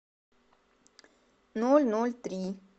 ноль ноль три